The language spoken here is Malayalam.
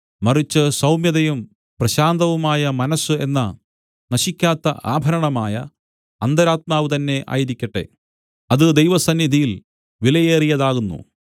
മറിച്ച് സൗമ്യതയും പ്രശാന്തവുമായ മനസ്സ് എന്ന നശിക്കാത്ത ആഭരണമായ അന്തരാത്മാവ് തന്നേ ആയിരിക്കട്ടെ അത് ദൈവസന്നിധിയിൽ വിലയേറിയതാകുന്നു